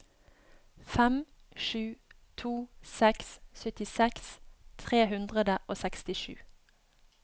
fem sju to seks syttiseks tre hundre og sekstisju